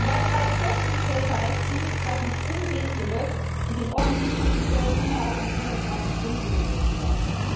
Und bei bereits festgestellter Rechtswidrigkeit muss umgehend gelöscht und in offensichtlichen Fällen innerhalb von 24 Stunden gelöscht werden.